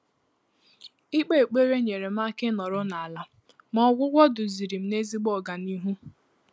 Íkpé ékpèré nyèrè m áká ị́nọ́rọ́ n’álá, mà ọ́gwụ́gwọ́ dùzìrì m n’ézìgbo ọganihu.